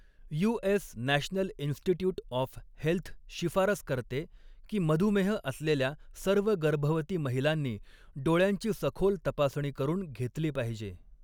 US National Institute of Health शिफारस करते, की मधुमेह असलेल्या सर्व गर्भवती महिलांनी डोळ्यांची सखोल तपासणी करून घेतली पाहिजे.